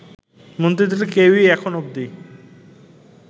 মন্ত্রীদের কেউ-ই এখন অব্দি